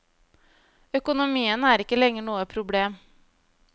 Økonomien er ikke lenger noe problem.